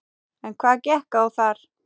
En hvað gekk á þar?